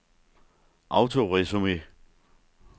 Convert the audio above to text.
autoresume